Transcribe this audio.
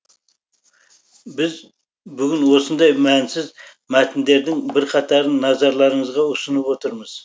біз бүгін осындай мәнсіз мәтіндердің бірқатарын назарларыңызға ұсынып отырмыз